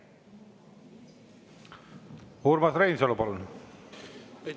Urmas Reinsalu, palun!